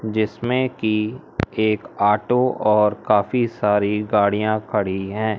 जिसमें की एक ऑटो और काफी सारी गाड़ियां खड़ी हैं।